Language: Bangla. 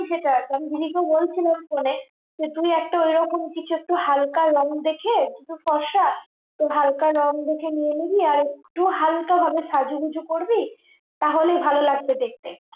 সেটা আমি দিদি কে বলছিলাম phone এ তো তুই একটা এরকম কিছু হালকা রং দেখে তুই তো ফর্সা তো হালকা রং দেখে নিয়ে নিবি আর একটু হালকা ভাবে সাজুগুজু করবি তাহলেই ভালো লাগবে দেখতে